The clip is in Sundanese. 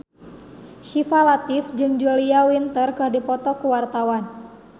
Syifa Latief jeung Julia Winter keur dipoto ku wartawan